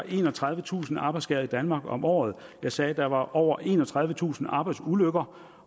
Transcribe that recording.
enogtredivetusind arbejdsskader i danmark om året jeg sagde at der er over enogtredivetusind arbejdsulykker